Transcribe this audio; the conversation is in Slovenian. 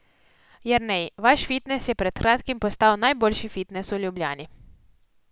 Jernej, vaš fitnes je pred kratkim postal najboljši fitnes v Ljubljani.